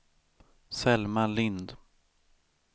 Selma Lind